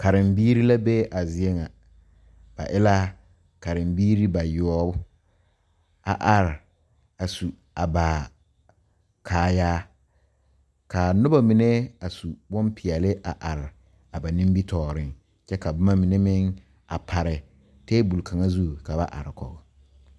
Karebiiri la be a zie ŋa ba e la karebiiri bayoɔbu a are a su a ba kaayaa ka noba mine a su bonpeɛle a are a ba nimitɔɔre kyɛ ka boma mine meŋ a pare tabol kaŋa zu ka ba are kɔge.